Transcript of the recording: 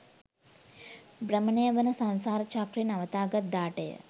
භ්‍රමණය වන සංසාර චක්‍රය නවතාගත් දාටය.